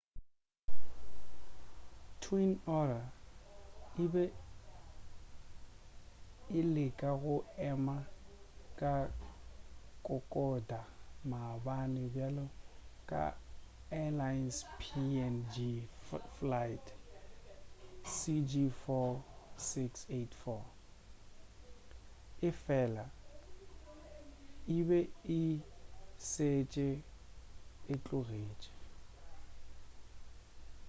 twin otter e be e leka go ema ka kokoda maabane bjalo ka airlines png flight cg4684 efela e be e šetše e tlogetše